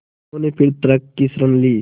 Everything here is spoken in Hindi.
उन्होंने फिर तर्क की शरण ली